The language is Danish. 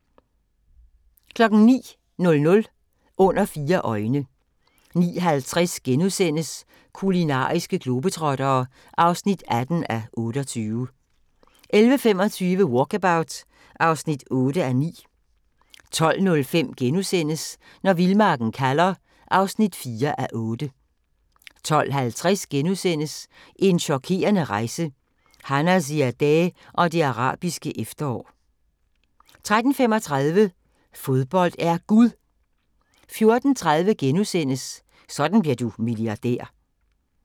09:00: Under fire øjne 09:50: Kulinariske globetrottere (18:28)* 11:25: Walkabout (8:9) 12:05: Når vildmarken kalder (4:8)* 12:50: En chokerende rejse – Hanna Ziadeh og det arabiske efterår * 13:35: Fodbold er Gud 14:30: Sådan bliver du milliardær